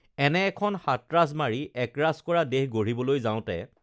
এনে এখন সাতৰাজ মাৰি একৰাজ কৰা দেশ গঢ়িবলৈ যাওতে